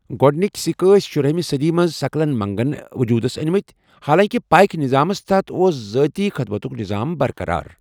گۄڈٕنک سکہِ ٲس شُرٲہمہِ صدی منٛز سکلن منگن وجوٗدس منٛز ٲنمٕت، حالانکہ پائیک نظامس تحت اوس ذٲتی خدمتُک نظام برقرار۔